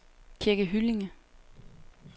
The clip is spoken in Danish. Kirke Hyllinge